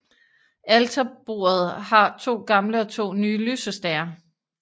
Alterbordet har to gamle og to nye lysestager